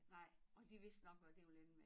Nej og de vidste nok hvad det ville ende med